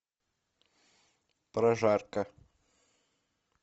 прожарка